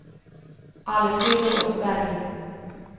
Alfhild Åsberg